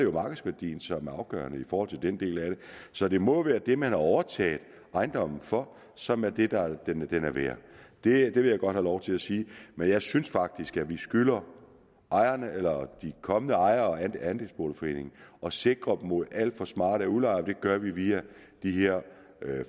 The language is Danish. markedsværdien som er afgørende i forhold til den del af det så det må være det man har overtaget ejendommen for som er det den er den er værd det vil jeg godt have lov til at sige men jeg synes faktisk at vi skylder ejerne eller de kommende ejere af andelsboligforeninger at sikre dem mod alt for smarte udlejere det gør vi via det her